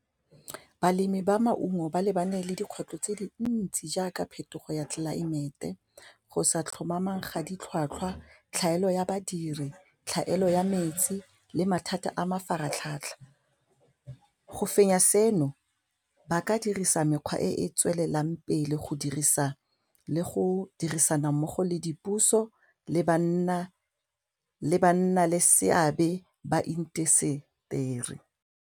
Balemi ba maungo ba lebane le dikgwetlho tse dintsi jaaka phetogo ya tlelaemete, go sa tlhomamang ga di tlhwatlhwa, tlhaelo ya badiri, tlhaelo ya metsi le mathata a mafaratlhatlha, go fenya seno ba ka dirisa mekgwa e e tswelelang pele go dirisa le go dirisana mmogo le dipuso le banna le seabe ba intaseteri.